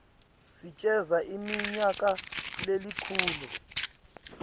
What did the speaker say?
sicedza iminyaka lelikhulu